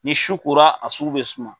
Ni su kora a su be suma